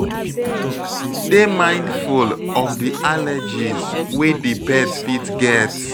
Dey mindful of di allergies wey di pet fit get